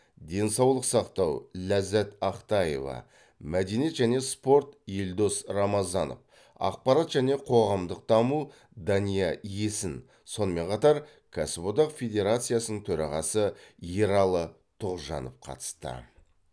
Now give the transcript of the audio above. денсаулық сақтау ләззат ақтаева мәдениет және спорт елдос рамазанов ақпарат және қоғамдық даму дания есін сонымен қатар кәсіподақ федрациясының төрағасы ералы тұғжанов қатысты